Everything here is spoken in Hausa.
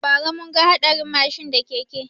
Ba ra mun ga hatsarin mashin da keke